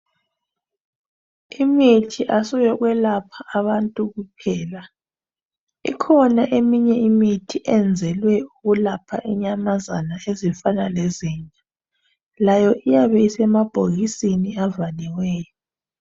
Imithi kayisiyo yokwelapha abantu kuphela. Ikhona eyinye imithi eyenzelwe ukwelapha inyamazana ezifana lezinja, layo iyabe isemabhikisini avaliweyo.